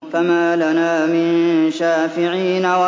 فَمَا لَنَا مِن شَافِعِينَ